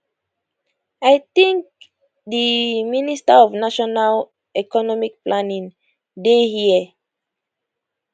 i think di minister of national economic planning dey hia